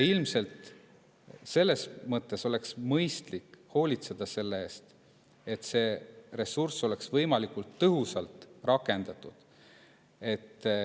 Ilmselt oleks mõistlik hoolitseda selle eest, et see ressurss oleks võimalikult tõhusalt rakendatud.